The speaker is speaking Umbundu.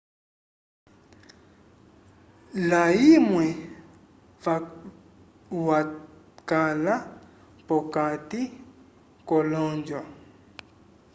layumwe wakala p'okati k'olonjo